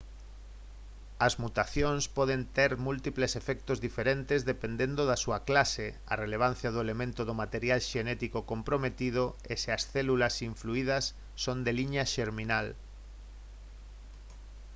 as mutacións poden ter múltiples efectos diferentes dependendo da súa clase a relevancia do elemento do material xenético comprometido e se as células influidas son de liña xerminal